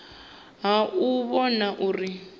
ha u u vhona uri